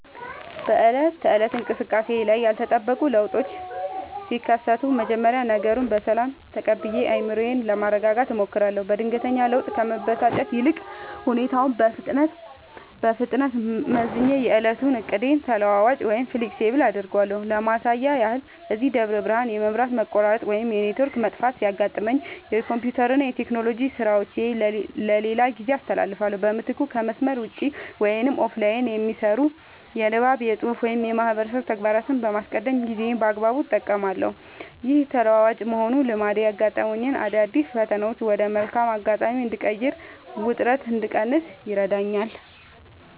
በዕለት ተዕለት እንቅስቃሴዬ ላይ ያልተጠበቁ ለውጦች ሲከሰቱ፣ መጀመሪያ ነገሩን በሰላም ተቀብዬ አእምሮዬን ለማረጋጋት እሞክራለሁ። በድንገተኛ ለውጥ ከመበሳጨት ይልቅ፣ ሁኔታውን በፍጥነት መዝኜ የዕለቱን ዕቅዴን ተለዋዋጭ (Flexible) አደርገዋለሁ። ለማሳያ ያህል፣ እዚህ ደብረ ብርሃን የመብራት መቆራረጥ ወይም የኔትወርክ መጥፋት ሲያጋጥመኝ፣ የኮምፒውተርና የቴክኖሎጂ ሥራዎቼን ለሌላ ጊዜ አስተላልፋለሁ። በምትኩ ከመስመር ውጭ (Offline) የሚሰሩ የንባብ፣ የፅሁፍ ወይም የማህበረሰብ ተግባራትን በማስቀደም ጊዜዬን በአግባቡ እጠቀማለሁ። ይህ ተለዋዋጭ የመሆን ልማዴ ያጋጠሙኝን አዳዲስ ፈተናዎች ወደ መልካም አጋጣሚ እንድቀይርና ውጥረት እንድቀንስ ይረዳኛል።